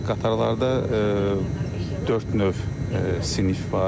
Qatarlarda dörd növ sinif var.